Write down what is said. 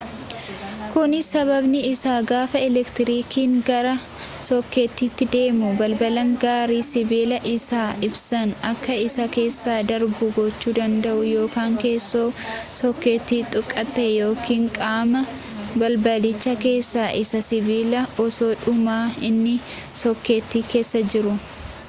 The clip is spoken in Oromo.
kunis sababni isaa gaafa elektirikiin gara sookeetiiti deemu balbiin gari sibiila isaa ibsaan akka si keessa darbu gochuu danda'u yoo keessoo sookeetii tuqxe yookiin qaama balbicha keessa isaa sibiila osoodhumaa inni sokeetii keessa jiru